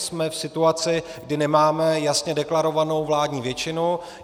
Jsme v situaci, kdy nemáme jasně deklarovanou vládní většinu.